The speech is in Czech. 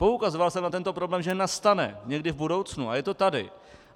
Poukazoval jsem na tento problém, že nastane někdy v budoucnu, a je to tady.